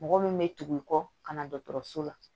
Mɔgɔ min bɛ tugu i kɔ ka na dɔgɔtɔrɔso la